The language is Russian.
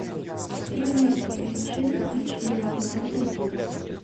тринадцать причин почему эпизод один